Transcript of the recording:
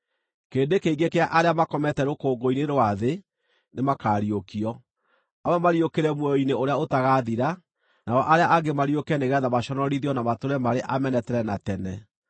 Kĩrĩndĩ kĩingĩ kĩa arĩa makomete rũkũngũ-inĩ rwa thĩ nĩmakariũkio: amwe mariũkĩre muoyo-inĩ ũrĩa ũtagaathira, nao arĩa angĩ mariũke nĩgeetha maconorithio na matũũre marĩ amene tene na tene.